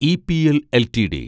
EPL LTD